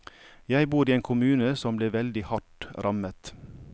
Jeg bor i en kommune som ble veldig hardt rammet.